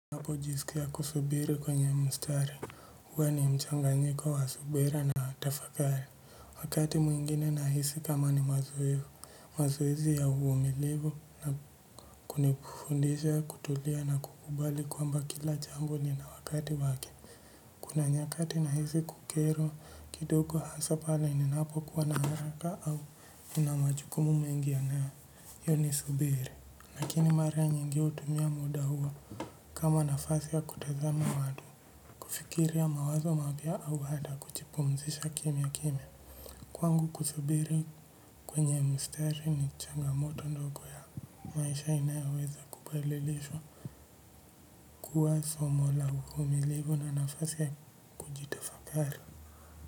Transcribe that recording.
Ninapojisikia kusubiri kwenye mstari, huwa ni mchanganyiko wa subira na tafakari. Wakati mwingine nahisi kama ni mazoezi, mazoezi ya uvumilivu na kunifundisha kutulia na kukubali kwamba kila jambo lina wakati wake. Kuna nyakati nahisi kukerwa kidogo, hasa pale ninapokuwa na haraka au nina majukumu mengi yanayo nisubiri. Lakini mara nyingi hutumia muda huo kama nafasi ya kutazama watu, kufikiria mawazo mapya au hata kujipumzisha kimya kimya kwangu kusubiri kwenye msitari ni changamoto ndogo ya maisha inayoweza kubadilishwa kuwa somo la uvumilivu na nafasi ya kujitafakari.